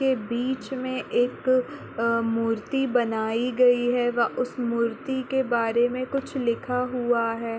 के बीच मे एक मूर्ति बनाई गई है वहाँ उस मूर्ति के बारे मे कुछ लिखा हुआ है।